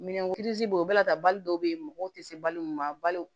Minɛnw bɛ yen o bɛɛ la tan bali dɔw bɛ yen mɔgɔw tɛ se balo ma balo